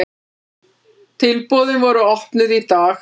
Tilboðin voru opnuð í dag.